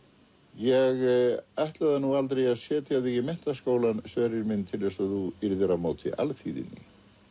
ég ætlaði nú aldrei að setja þig í menntaskólann Sverrir minn til að þú yrðir á móti alþýðunni